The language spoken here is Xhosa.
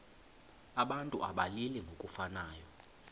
abantu abalili ngokufanayo